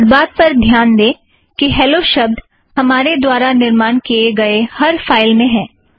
इस बात पर ध्यान दें कि हॅलो शब्द हमारे द्वारा निर्माण किए गए हर फ़ाइल में है